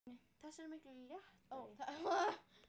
Það verða umbreytingar í veðrinu.